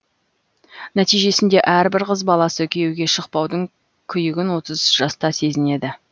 нәтижесінде әрбір қыз баласы күйеуге шықпаудың күйігін отыз жаста сезінеді